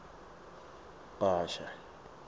bhasha